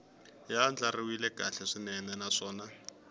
ya andlariwile kahle swinene naswona